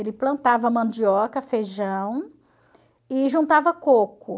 Ele plantava mandioca, feijão e juntava coco.